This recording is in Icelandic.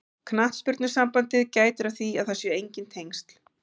Knattspyrnusambandið gætir að því að það séu enginn tengsl.